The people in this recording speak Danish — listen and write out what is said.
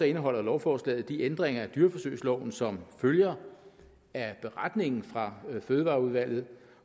indeholder lovforslaget de ændringer af dyreforsøgsloven som følger af beretningen fra fødevareudvalget